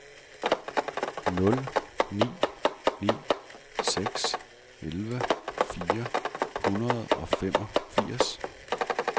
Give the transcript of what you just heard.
nul ni ni seks elleve fire hundrede og femogfirs